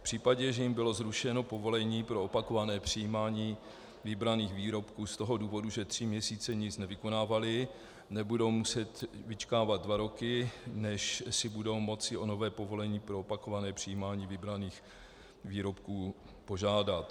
V případě, že jim bylo zrušeno povolení pro opakované přijímání vybraných výrobků z toho důvodu, že tři měsíce nic nevykonávali, nebudou muset vyčkávat dva roky, než si budou moci o nové povolení pro opakované přijímání vybraných výrobků požádat.